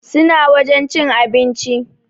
Suna wajen cin abinci